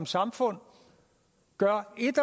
samfund gør et